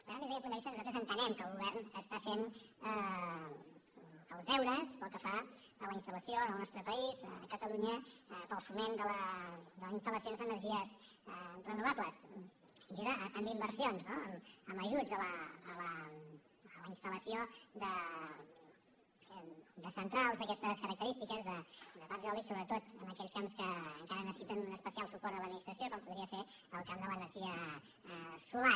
per tant des d’aquest punt de vista nosaltres entenem que el govern fa els deures pel que fa a la instal·lació en el nostre país a catalunya per al foment de la instal·lació d’energies renovables ajuda amb inversions no amb ajuts a la instal·lació de centrals d’aquestes carac·terístiques de parcs eòlics sobretot en aquells camps que encara necessiten un especial suport de l’adminis·tració com podria ser el camp de l’energia solar